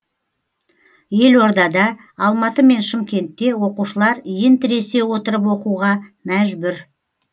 елордада алматы мен шымкентте оқушылар иін тіресе отырып оқуға мәжбүр